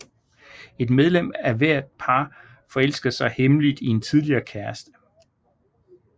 Et medlem af hvert par forelsker sig hemmeligt i en tidligere kæreste